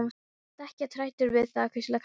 Ertu ekkert hræddur við það? hvíslaði Kata.